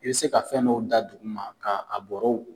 I bɛ se ka fɛn' dɔ da duguma ka a bɔrɔw.